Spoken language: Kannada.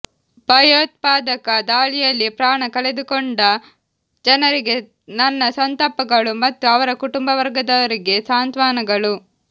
ಭಯೋತ್ಪಾದಕ ದಾಳಿಯಲ್ಲಿ ಪ್ರಾಣ ಕಳೇದುಕೊಂಡ ಜನರಿಗೆ ನನ್ನ ಸಂತಾಪಗಳು ಮತ್ತು ಅವರ ಕುಟುಂಬವರ್ಗದವರಿಗೆ ಸಾಂತ್ವನಗಳು